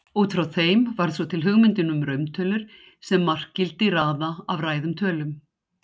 Út frá þeim varð svo til hugmyndin um rauntölur sem markgildi raða af ræðum tölum.